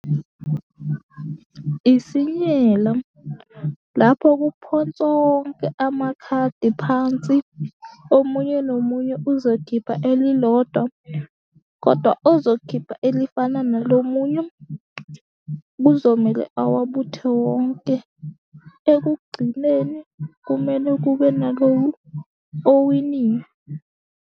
Isinyelo lapho kuphonswa onke amakhadi phansi, omunye nomunye uzokhipha elilodwa kodwa ozokukhipha elifana nelomunye kuzomele awabuthe wonke. Ekugcineni kumele kube nalo owinile.